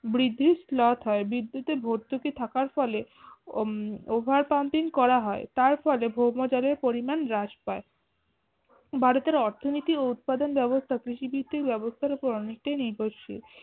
বৃদ্ধি slot হয় বৃদ্ধিতে ভতুর্কি থাকার ফলে ও উম overpamping করা হয় তার ফলে ভৌমজলের পরিমান হ্রাস পায়। ভারতে অর্থনীতি ও উৎপাদন ব্যবস্থা কৃষি ভিত্তির ব্যবস্থার উপর অনেকটা নির্ভরশীল